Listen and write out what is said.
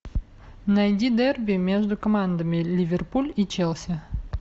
найди дерби между командами ливерпуль и челси